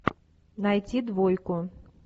найти двойку